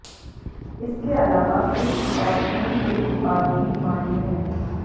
इसके अलावा सिल्क और ऊन के उत्पाद भी डिमांड में हैं